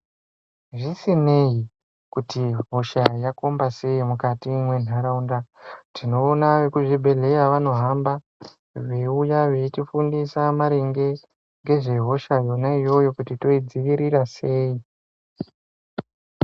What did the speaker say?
Zvisine kuti hosha yakombasei mukati mwentaraunda tinoona rekuzvibhehleya vanohamba veiuya veitifundisa maringe ngezvehosha yona iyoyo kuti toidzivirira sei .